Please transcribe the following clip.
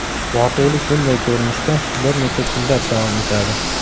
Voqelik bunday ko‘rinishda bir necha kunlab davom etadi.